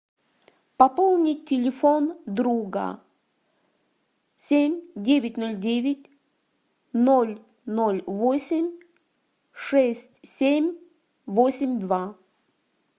пополнить телефон друга семь девять ноль девять ноль ноль восемь шесть семь восемь два